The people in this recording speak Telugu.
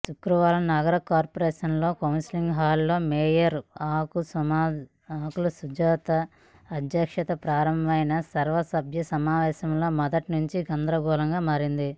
శుక్రవారం నగర కార్పోరేషన్లోని కౌన్సిల్ హాల్లో మేయర్ ఆకుల సుజాత అధ్యక్షతన ప్రారంభమైన సర్వసభ్య సమావేశం మొదటినుంచే గందరగోళంగా మారింది